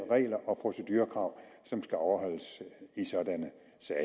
regler og procedurekrav som skal overholdes i sådanne